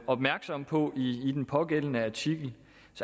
opmærksom på i den pågældende artikel